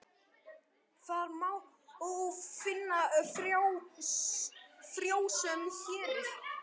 Þar má finna frjósöm héruð.